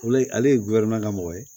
Olu ye ale ye ka mɔgɔ ye